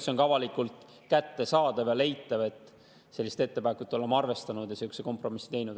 See on ka avalikult kättesaadav ja leitav, et oleme ettepanekut arvestanud ja sihukese kompromissi teinud.